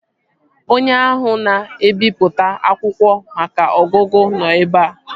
Onye ahụ na-ebipụta akwụkwọ maka ọgụgụ nọ ebea